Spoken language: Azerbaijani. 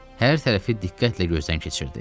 Hər tərəfi diqqətlə gözdən keçirdi.